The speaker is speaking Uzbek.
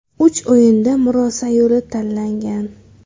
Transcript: Uch o‘yinda murosa yo‘li tanlangan.